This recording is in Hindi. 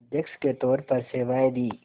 अध्यक्ष के तौर पर सेवाएं दीं